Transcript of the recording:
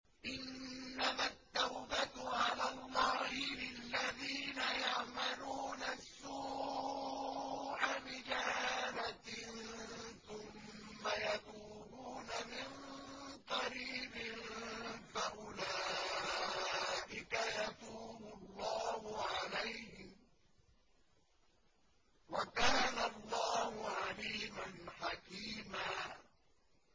إِنَّمَا التَّوْبَةُ عَلَى اللَّهِ لِلَّذِينَ يَعْمَلُونَ السُّوءَ بِجَهَالَةٍ ثُمَّ يَتُوبُونَ مِن قَرِيبٍ فَأُولَٰئِكَ يَتُوبُ اللَّهُ عَلَيْهِمْ ۗ وَكَانَ اللَّهُ عَلِيمًا حَكِيمًا